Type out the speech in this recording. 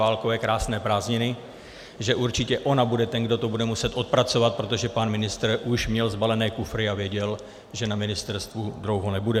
Válkové krásné prázdniny, že určitě ona bude ten, kdo to bude muset odpracovat, protože pan ministr už měl sbalené kufry a věděl, že na ministerstvu dlouho nebude.